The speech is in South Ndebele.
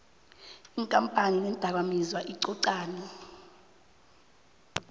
iinkampani neendakamizwa icocane